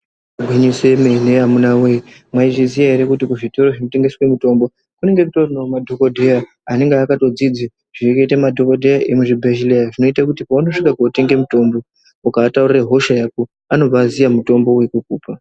Gwinyiso yemene amuna wee mwaiziya ere kuti kuzvitoro zvinotengeswa mitombo kunenge kutorinewo madhokodheya anenge akadzidza zvirikuita madhokodheya emuzvibhedhleya zvinoite kuti paunosvika kotenga mutombo ukaataurira hosha yako anobva atoziya mutombo wekukupa.